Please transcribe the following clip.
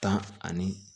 Tan ani